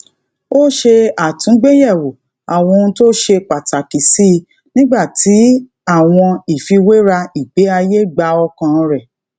ó ṣe àtungbéyẹwo àwọn ohun tó ṣe pàtàkì síi nígbà tí àwọn ìfiwéra ìgbéayé gba ọkàn rẹ